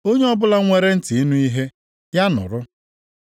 Onye ọbụla nwere ntị ịnụ ihe, ya nụrụ.”